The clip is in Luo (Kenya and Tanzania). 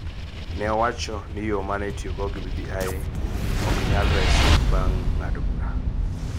ne owacho ni yo ma ne itiyogo gi BBI ne ok nyal resi bang� ng�ado bura,